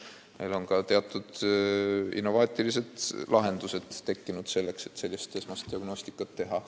Meil on olemas teatud innovaatilised lahendused, et esmast diagnostikat teha.